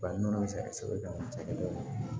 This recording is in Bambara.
Bari nɔnɔ sari kosɛbɛ